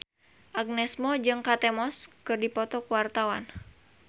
Agnes Mo jeung Kate Moss keur dipoto ku wartawan